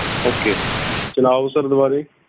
okay ਚਲਾਓ sir ਦਵਾਰੇ